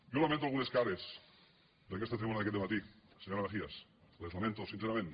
jo lamento algunes cares d’aquesta tribuna d’aquest matí senyora mejías les lamento sincerament